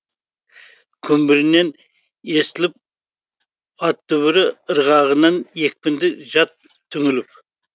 күмбірінен естіліп ат дүбірі ырғағынан екпінді жат түңіліп